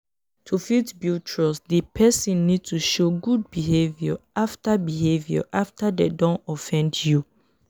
to fit build trust di person need to show good behaviour after behaviour after dem don offend you